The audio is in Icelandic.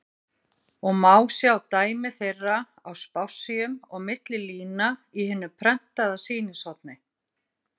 og má sjá dæmi þeirra á spássíum og milli lína í hinu prentaða sýnishorni.